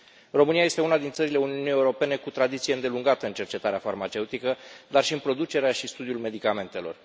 România este una din țările Uniunii Europene cu tradiție îndelungată în cercetarea farmaceutică, dar și în producerea și studiul medicamentelor.